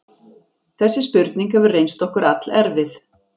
Þessi spurning hefur reynst okkur allerfið.